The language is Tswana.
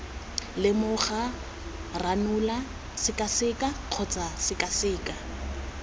lemoga ranola sekaseka kgotsa sekaseka